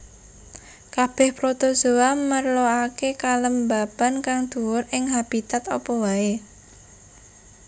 Kabèh protozoa merlokaké kelembaban kang dhuwur ing habitat apa waé